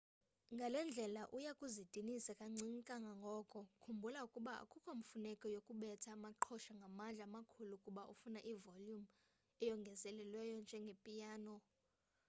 ngale ndlela uya kuzidinisa kancinci kangangoko khumbula ukuba akukho mfuneko yokubetha amaqhosha ngamandla amakhulu kuba ufuna ivolumu eyongezelelweyo njengepiyano